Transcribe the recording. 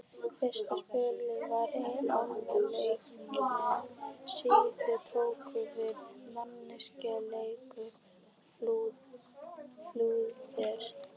Fyrsta spölinn var áin lygn, síðan tóku við meinleysislegar flúðir.